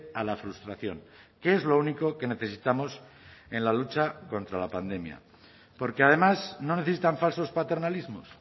a la frustración que es lo único que necesitamos en la lucha contra la pandemia porque además no necesitan falsos paternalismos